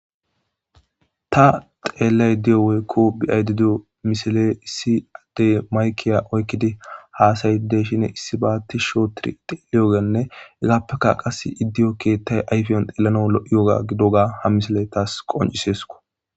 Ta xelayidda dhe'iyo woyikko be'ayidda diyo issi bittane maikkiya oyikidi hasayidi dishshen issiba tishsh oththidi thiqiyoganne hegappekka qasse i'deiyo keththay ayiffe xelanawu lo'yogga giddogga ha misile tas qonc'isesikko.